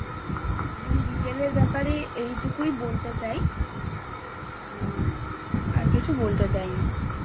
আমি Retail এর ব্যাপারে এইটুকুই বলতে চাই। আর কিছু বলতে চাই না।